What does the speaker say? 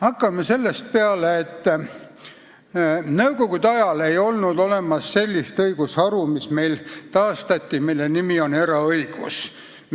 Hakkame sellest peale, et nõukogude ajal ei olnud olemas sellist õigusharu, mis meil taastati ja mille nimi on eraõigus.